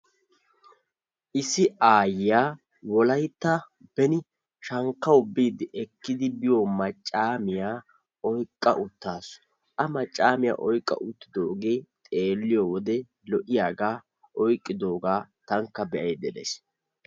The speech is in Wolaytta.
Issi Aayiyaa wolayttan beni shankkawu biidi ekki biiyo maccaamiyaa oyqqa uttasu. a maccaamiyaa oyqqa uttidoge xeeliyowode lo'iyaga oyqqidoga tanikka beayda deays.